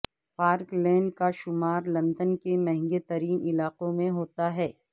park lane کا شمار London کے مہنگے ترین علاقوں میں ہوتا ہے